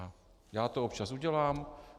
Já to občas udělám.